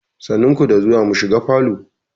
Sannu ku da zuwa, mu shiga falo.